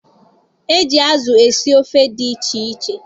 E ji azụ esi ofe dị iche iche